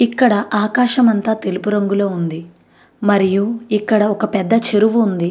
ఇక్కడ ఆకాశం అంత తెలుపు రంగులో ఉంది. మరియు ఇక్కడ పెద్ద చెరువు ఉంది.